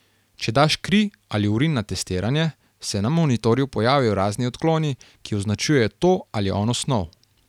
Če daš kri ali urin na testiranje, se na monitorju pojavijo razni odkloni, ki označujejo to ali ono snov.